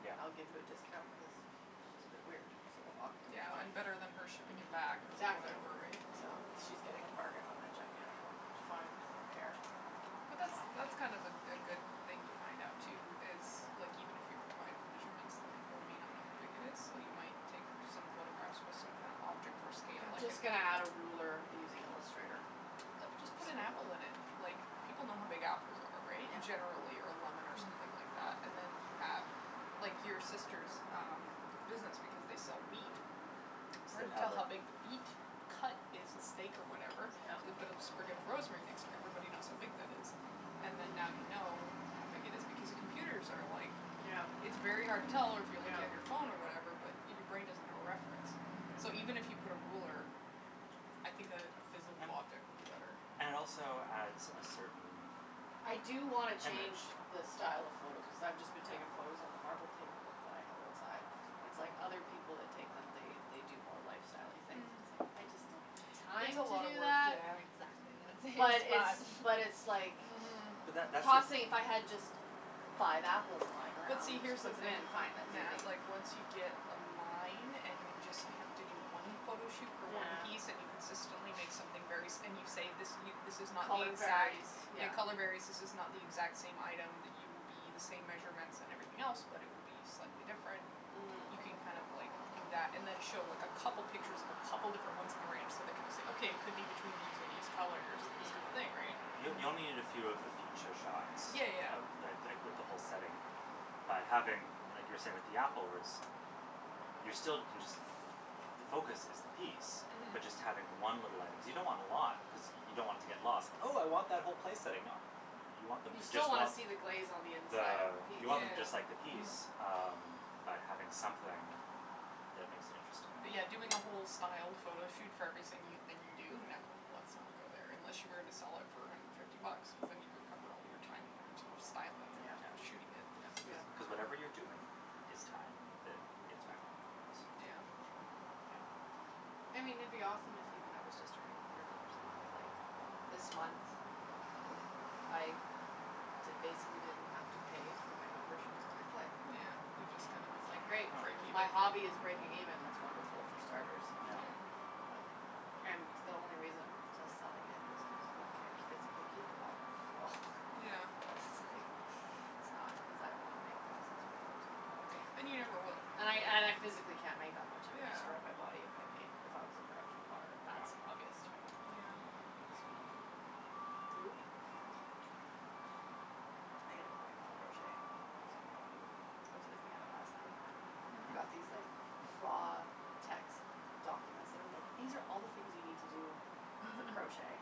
Yeah. and I'll give you a discount" cuz y- it was a bit weird. It was a little awkward Yeah, and better than her shipping it back or Mhm. Exactly. whatever, right? So Yeah. she's getting a bargain on that gigantic one. Fine, I don't care, I don't, But that's that's fine. Oh. that's kind of a a good thing to find out, too is, like even if you provide the measurements, then people might not know how big it is. Though you might take f- some photographs with some kind of object for scale I'm like an just gonna add a ruler using Illustrator Put, just for put an scale. apple in it! Like, people know how big apples are, right? Generally, or a lemon or something Mhm. like that. Yeah. And then you have, like, your sister's um business, because they sell meat. They'd Hard to have tell like how big the beat cut is a steak or whatever. So Yep. we put a sprig of rosemary next to it, everybody knows how big that is. And then now Mm. you know how big it is, because the computers are like Yeah. It's very hard to tell, or if you're looking at your Yeah. phone or whatever, but your brain doesn't have a reference, so even if you Mm. put a ruler I think a a physal And object would be better. Yeah. And it also adds a certain I do wanna change image. the style of photos cuz I've just been Yeah. taking photos on the marble table that I have outside. It's like other people that take them, they they do more lifestyle-y things. Mm. It's like, Mm. I just don't have the It's time a Mm. to lotta do work, that. yeah. Exactly, I'm thinking But like it's that. But it's like Mhm. But that that's the Tossing, if I had just five apples lying But around, see, here's just the put them thing, in, N- fine, that's Nat, easy. like once you get a line, and you just have to do one photo shoot for one piece and you Yeah. consistently make something very s- and you say this y- this is not the Color exact, varies. yeah, Yeah. color varies This is not the Mhm. exact same item that you will be, the same measurements and everything else but it will be slightly different. You Mhm. can Yeah. kind of like, do that, and then show like a couple pictures of a couple different ones in the range, so they kind of say "Okay, it could be between these and these colors and this Mhm. Yeah. kinda thing," right? Y- you only need a Mhm. few of the feature shots Yeah, yeah, of yeah. the, th- like with the whole setting. By having, I mean like you were saying with the apple words y- you're still, can just the focus is the piece. Mhm. But just having one little item, cuz you don't want a lot cuz y- you don't want it to get lost. "Oh I want that whole place setting." Nah, y- you want them You to just still wanna want see the glaze on the inside of the, the piece, you want them just Yeah. too. like the piece. Mhm. Um, but having something that makes it interesting. But yeah, doing a whole styled photo shoot for every sing- thing you do? No. Let's not go there, unless you were gonna sell it for a hundred and fifty bucks. Cuz then you could cover all of your time and energy of styling it Yeah. and Yeah. shooting it. That's cuz Yeah. cuz whatever you're doing is time that gets factored in the price. Yeah. Yeah, for sure. Yeah. I mean it'd be awesome if even I was just earning a hundred dollars a month, like This month I d- basically didn't have to pay for my membership for my clay. Yeah, you just kinda It's like, making, great, break Oh. if even. my hobby is breaking Yeah. even, that's wonderful, for starters. Yeah. And the only reason to selling it is cause you c- physically keep it all. So Yeah. it's like, it's not cuz I wanna make thousands of dollars off pottery. And you never will. And I, and I physically can't make that much, I would destroy Yeah. my body if I made, if I was a production potter. That's Yeah. obvious to me. Yeah. Mm. So Nope. But, I gotta get back to crochet, that's what I gotta do. I was looking at it last night, I've got Mhm. these like, raw text documents that are like, "these are all the things you need to do for crochet."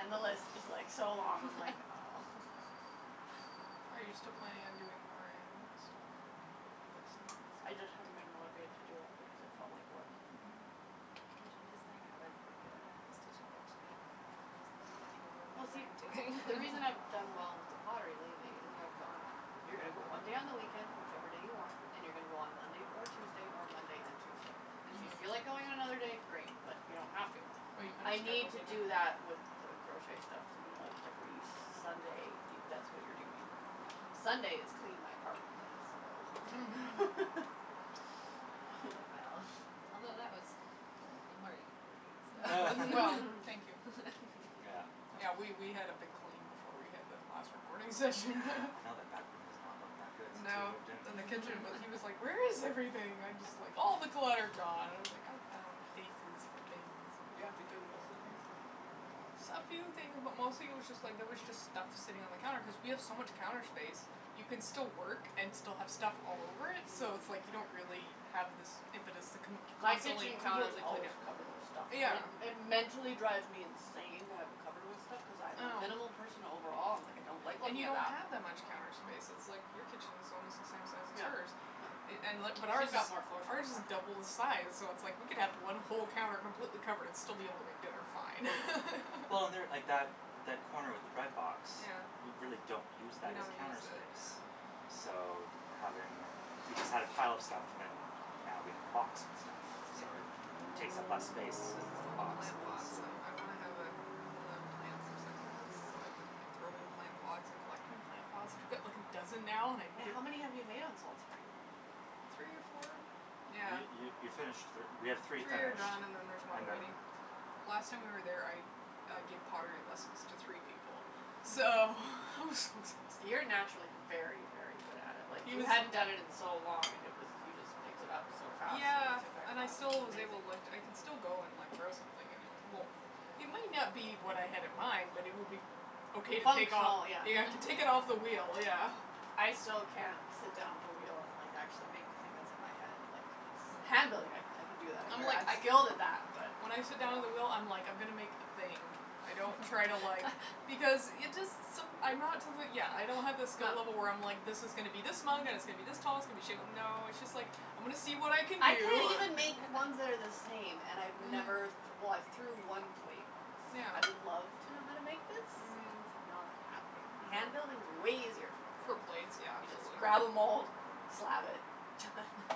And the list is like, so long, I'm like, oh. Are you still planning on doing more animal stuff? Like, books and things? I just haven't been motivated to do it because it felt Mm. like work. Mhm. You should just like have a regular stitch and bitch night. And I'll just bring over Well whatever see, I'm doing. the reason I've done well with the pottery lately is I've gone You're gonna go one day on the weekend, whichever day you want. And you're gonna go on Monday or Tuesday, or Monday and Tuesday. And if you feel like Mhm. going on another day, great, but you don't have to. But you kinda Mhm. I need scheduled to it do in. that with the crochet stuff to be like, Oh. every Sunday. You, that's what you're doing. Sunday is clean my apartment day, so That went really well, although that was Saturday morning for me, so Well, thank you. Yeah, Yeah, that was we we had a big clean before we had the last recording session. Yeah, I know that back room has not looked that good since we No. moved in. Then the kitchen w- he was like, "Where is everything?" I'm just like, "All the clutter gone" and I was like, "I found places for things." Did you have to Goodwill some things? No. S- a few things, but mostly it was just like, there was just stuff sitting on the counter cuz we have so much counter space. You can still work and still have stuff all over it, so it's like Mm. you don't really have this impetus to con- My constantly kitchen counter's completely clean always it. covered with stuff. And Yeah. Yeah. it it mentally drives me insane to have it covered with stuff. Cuz I I am a know. minimal person overall, I'm like, I don't like And looking you at don't that. have that much counter space, it's like your kitchen's almost the same size as Yeah. hers No. i- and li- but ours Who's is got more floor space ours is actually. double the size, so it's like we could have one whole counter completely covered and still be able to make dinner fine. Well and there, like that that corner with the bread box Yeah. we really don't use We that as don't counter use it, yeah. space. So, d- having, we just had a pile of stuff and then now we have the box with stuff. Yeah. So it takes up less space cuz it's It's in all a the box, plant but it's that's um, still I wanna have a I wanna plant some succulents, so I've been like, throwing plant pots and collecting plant pots. I got like a dozen now and I Wait, how many have you made on Salt Spring? Three or four? Yeah. You you you finished thir- we have Three three are finished done and then there's one and then, waiting. Last time we were yeah. there, I I gave pottery lessons to three people, so it was so You're exhausting. naturally very, very good at it. Like, He you was hadn't done it in so long and it was you just picked it up so fast when Yeah, you took that and I class. It still was was able, like, amazing. I can still go and, like, throw something and it won't It may not be what I had in mind, but it will be okay to take off. Functional, yeah. Yeah, I can take it off the wheel, yeah. I still can't sit down at the wheel and, like, actually make the thing that's in my head, like, it's Handling, I I can do that, I'm I'm ver- like, I'm I skilled guilded at that, that. but When I sit down at the wheel, I'm like, I'm gonna make a thing. I don't try to, like Because it just, som- I'm not to the, yeah, I don't have the skill level where I'm like this is gonna be this mug and it's gonna be this tall, it's going to be shape no, it's just like I'm gonna see what I can I can't do. even make ones that are the same, and I've never th- Mhm. well, I've threw Mhm. one plate once. I would love Yeah. to know how to make this. Mhm. It's not happening. I know. Hand building is way easier for a For plate. plates, yeah, You just absolutely. grab a mould, slab it, done.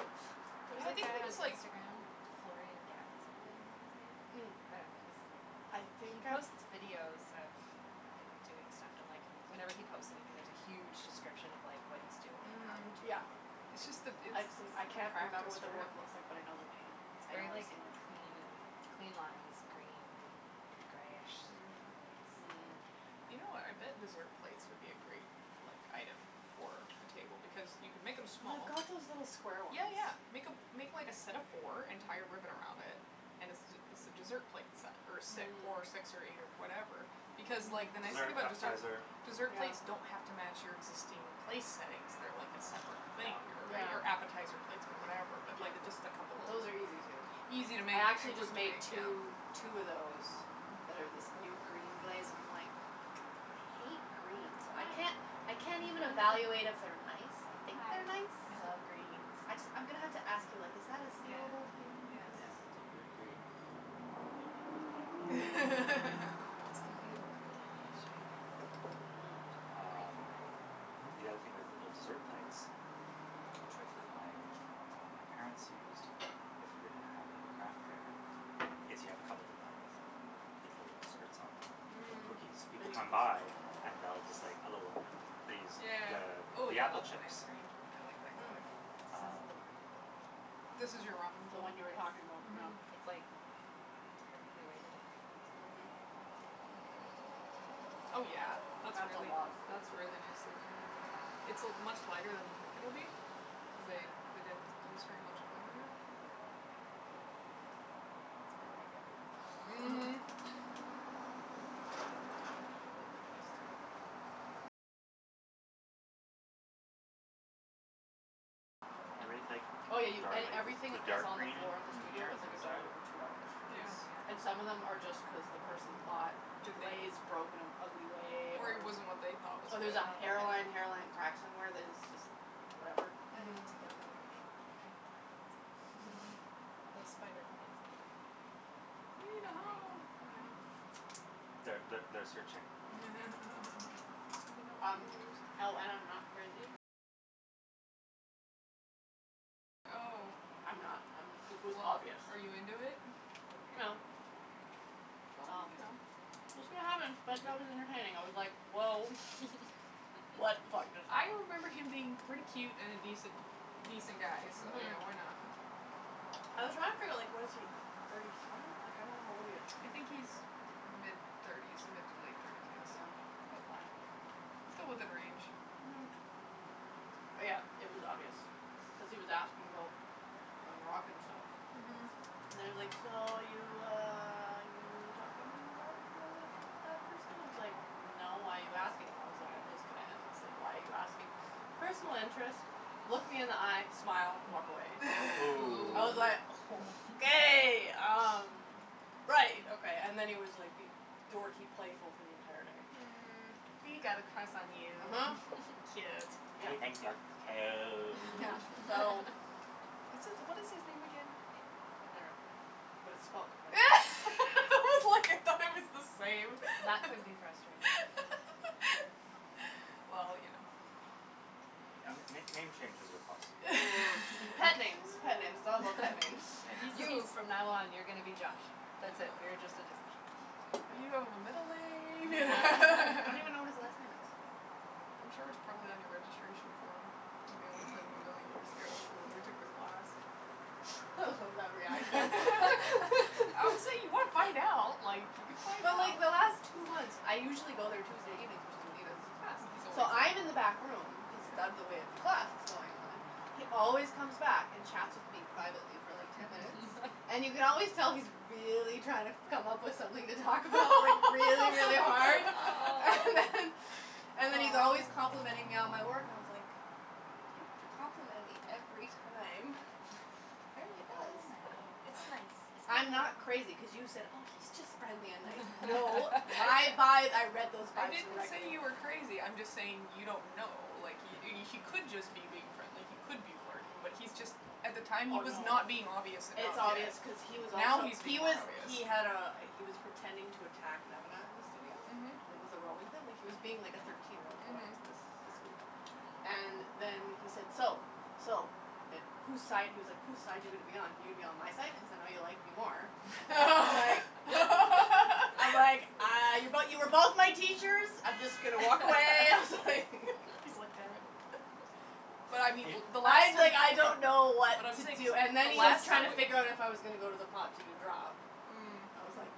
Yeah, There's I a think it guy it on was like Instagram, Floren Gatzby, I think is his Mm. name. I Mm. don't know, he's I he think I've posts videos of him doing stuff and, like, whenever he posts anything, there's a huge description of, like, what he's doing and how he's Mhm. doing Yeah. it and It's just the everything. it's I've s- practice, I can't remember what the work looks like, but I right? know the name. It's I know very, I've like, seen it. clean and clean lines, green greyish Mhm. glaze, like, You Mm. know what, I bet yeah. dessert plates would be a great, like, item for a table because you can make them small. I've got those little square ones. Yeah, yeah, make a make like a set of four and tie a ribbon around it and it's it's a dessert plate set or si- Mm. four, six or eight or whatever because, like, the Mm, nice thing dessert, Mhm. about deser- appetizer. dessert plates don't Yeah. have to match your existing place settings. They're like a separate Yeah. thing or right Yeah. or appetizer plates or whatever but, Yeah. like, just a couple of l- Those are easy, too. Easy to make I actually and quick just to make made two two of those that are this new green glaze and I'm, like, I hate green, so I can't I I can't even evaluate if they're nice. I think they're nice. I just I'm gonna have to ask you, like is that a salable thing cuz Yeah, type gr- green, we we like it. Speaking of Um. green, I'll show you the bowl, Mm. while we're talking about green Um, pottery. the other thing was little dessert plates. A trick that my, uh, my parents used, if you're gonna have like a craft fair, is you have a couple of them out with little desserts on them or Mhm. cookies. People come by and they'll just like a little b- they use the Yeah. Oh, the yeah, apple that's a chips. nice green. I like that Mm. color. This is Um the perfect bowl. This is your ramen The bowl? one you were talking about, yeah. Mhm. Yes. It's, like, perfectly weighted in my Mhm. hand. Let me try it. Oh, yeah, that's That's a really lotta food. that's really nicely thrown. It's a much lighter than you think it'll be cuz Yeah. they they didn't use very much clay on it. It's my, like, everything Mhm. bowl. That's a good one. I like that glaze, too. Everything's like Oh, yeah, y- dark, a- like everything the that's dark on the green floor in the in in studio here is on the like a inside dollar or two dollars. Yeah. Oh, is And some of them my god. are just cuz the person thought the glaze broke in an ugly way Or it or wasn't what they thought was or good. there's a Oh, hairline my hairline crack god. somewhere that is just, like, whatever. I need to Mhm. go there now. I need plant pots. Mhm. Those spider plants need They need a a home, thing. yeah. Th- th- they're searching. Sending out Um, feelers. oh, and I'm not crazy. I'm not I'm it was Well, obvious. are you into it? No. Well, Well, you know, we'll it's see like what happens, but that was entertaining. I was like, woah. What the fuck just I happened. remember him being pretty cute and an a decent, a decent guy so, Mhm. yeah, why not? I was trying to figure out, like, what is he, thirty seven? Like, I don't know how old he is. I think he's mid thirties, mid to late thirties, yes, Yeah, that's but fine. still within range. Mhm. But, yeah, it was obvious cuz he was asking about my Moroccan stuff. Mhm. And he was like, so, you, uh, you talking about, uh, that person? I was like, no, why are you asking? I was like, I'm just gonna end this. Like, why are you asking? Personal interest, look me in the eye, smile, walk away. Ooh. I was like, Ooh. okay, um, right, okay. And then he was being like dorky playful for the entire day. Mm. He got a crush on you. uh-huh. Cute. Yeah. He thinks you're Yeah, cute. so It's it's what is his name again? Darren, but it's spelled differently. I was like, I thought it was the same. That could be frustrating. Well, you know. N- n- Yeah. name changes are possible. Pet names, pet names, all about pet names. Yeah, he seems You, from now on, you're gonna be Josh. That's it, you're just a Josh. You don't have a middle name Yeah. I don't even know what his last name is. I'm sure it's probably on your registration form email from a million years ago from when we took the class. I love that reaction. Obviously if you want to find out, like, you could find But, out. like, the last two months, I usually go there Tuesday evenings, which is when he does his class, He's always so there. I'm in the back room cuz it's out of the way of the Yeah. class that's going on, he always comes back and chats with me privately for like ten minutes, and you can always tell he's really trying to come up with something to talk about, like, really, really hard. And then and then he's always Oh. complimenting me on my Oh. work and I was like, you don't have to compliment me every time. Oh, Apparently he does. Oh, Nattie, it's Nattie, it's nice. nice. I'm not crazy, cuz you said, oh, he's just friendly and nice. No, my vibe, I read those I vibes didn't say correctly. you were crazy, I'm just saying you don't know. Like, he he could just be being friendly, he could be flirting, but he's just, at the time he Oh, was no. not being obvious enough It's yet. obvious cuz he was Now also he's He being more was obvious. he had a he was pretending to attack Nemana in the studio, Mhm. like, with a rolling pin. Like, he was being like a thirteen year old boy Mhm. this this week. And then he said, "So, so, who's side," he was like, who's side you gonna be on? You going to be on my side, cuz I know you like me more. I was like I was like, uh, but you were both my teachers. I'm just going to walk away. I was like He's like, damn it. But I mean He- the last time that okay, I don't know so what But I'm to saying do. so And then the he was last trying time to just figure out if I was gonna go to the pot to do drop. Mm. I was like,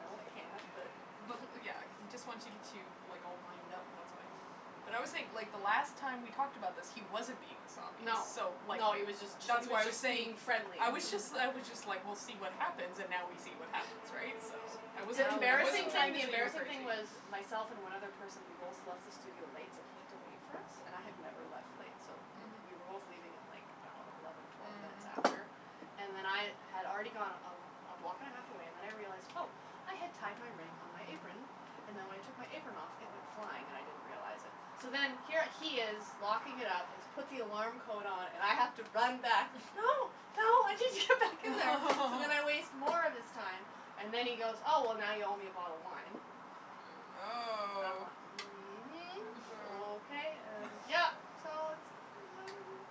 no, I No, can't, but but, yeah, he just wants to get you, like, all wind up, that's why. But I always think the last time we talked about this, he wasn't being this obvious No, so, like, no, he was just that's he why was I was just saying, being friendly. I was just I was just like, we'll see what happens, and now we see what happens, right, so I wasn't The Now embarrassing trying thing to the we know. say you were embarrassing thing crazy. was myself and one other person, we both left the studio late, so he had to wait for us. And I have never left late, so we were both Mhm. Mhm. leaving at, like, I don't know, eleven, twelve minutes after Mhm. and then I had already gone a a block and a half away and then I realized, oh, I had tied my ring on my apron and then when I took my apron off, it went flying and I didn't realize it. So then here he is locking it up and he's put the alarm code on and I have to run back. No, no, I need to get back in there! So then I waste more of his time and then he goes, oh, well, now you owe me a bottle of wine. Mm. I'm Oh. like, I mhm, don't okay, know. and yeah, so it's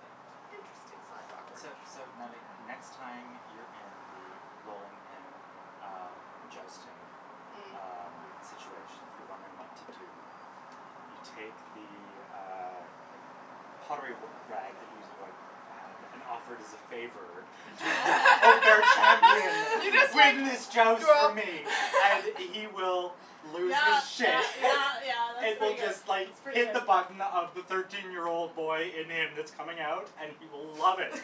Yeah. interesting slash awkward. So so, Natalie, next Yeah. time you're in the rolling pin, um, jousting, Mm. um, Mhm. situation, if you're wondering what to do, you take the, uh, like, pottery r- rag that you use to wipe your hand and offer it as a favor to the unfair You champion. just Leave like him his joust for me and he will lose Yeah, his yeah, shit. yeah, yeah, that's It will pretty good. just, That's like, pretty hit the good. button of the thirteen year old boy in him that's coming out and he will love it.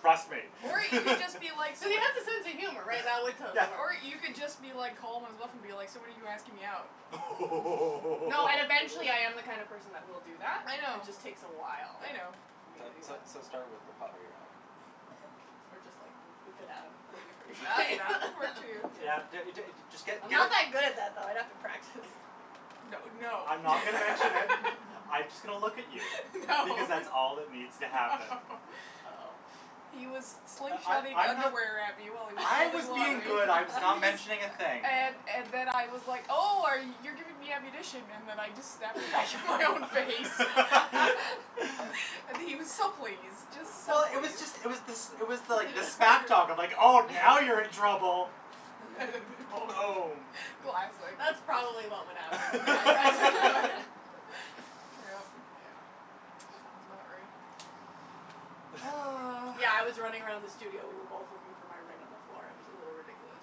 Trust me. Or you can just be like s- He has a sense of humor, right? That would Yeah. totally work. Or you could just be like calm and stuff and be like, so when are you asking me out? Oh! No, and eventually I am the kind of person that will do that. I It know. just takes a while I know. for me So to do so that. so start with the pottery rag. Or just, like, whip it at him. That would be pretty That funny. that could work, too, yes. Yeah, d- d- just get I'm not get that good at that, though. I'd have to practice. That would no. I'm not gonna mention it. I'm just going to look at you No. because that's all that needs to happen. No. Oh. He was I slingshotting I I'm not underwear at me while he was I throwing was being pottery. good. I was not He mentioning a was thing. And and then I was like, oh, are y- you're giving me ammunition and then I just snapped it back in my own face. And he was so pleased, just so Well, it was pleased. just it was this it was like the smack talk of, like, oh, now you're in trouble. Boom. Classic. That's probably what would happen if I tried to go in. Yep. Yeah. Sounds about right. Oh. Yeah, I was running around the studio. We were both looking for my ring on the floor. It was a little ridiculous.